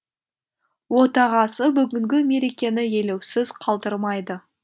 отағасы бүгінгі мерекені елеусіз қалдырмайды